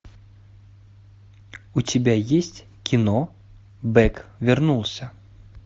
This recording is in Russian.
у тебя есть кино бэк вернулся